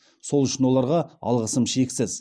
сол үшін оларға алғысым шексіз